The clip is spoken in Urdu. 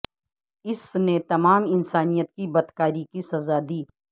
اس نے تمام انسانیت کی بدکاری کی سزا دی